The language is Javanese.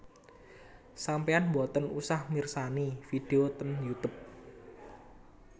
Sampean mboten usah mirsani video teng Youtube